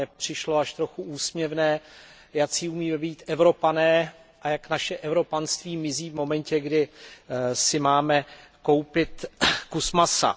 Mně přišlo až trochu úsměvné, jací umíme být Evropané a jak naše evropanství mizí v momentě, kdy si máme koupit kus masa.